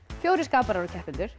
fjórir skaparar og keppendur